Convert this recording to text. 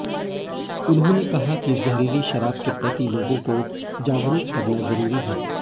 उन्होंने कहा कि जहरीली शराब के प्रति लोगों को जागरूक करना जरूरी है